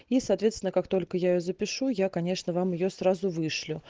и соответственно как только я её запишу я конечно вам её сразу вышлю